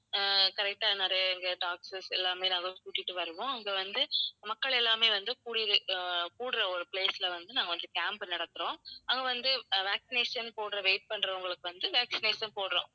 அஹ் correct ஆ நிறைய எங்க doctors எல்லாமே நாங்க கூட்டிட்டு வருவோம். அங்க வந்து மக்கள் எல்லாமே வந்து கூடி அஹ் கூடுற ஒரு place ல வந்து நாங்க வந்து camp நடத்துறோம். அங்க வந்து அஹ் vaccination போடுற wait பண்றவங்களுக்கு வந்து vaccination போடுறோம்.